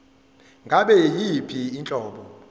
ngabe yiyiphi inhlobo